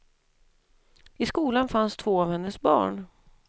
I skolan fanns två av hennes barn.